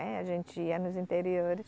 A gente ia nos interiores.